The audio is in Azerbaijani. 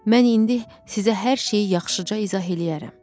Mən indi sizə hər şeyi yaxşıca izah eləyərəm.